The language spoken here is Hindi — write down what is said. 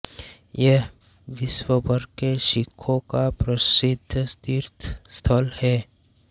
यह विश्व भर के सिखों का प्रसिद्ध तीर्थस्थल है